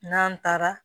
N'an taara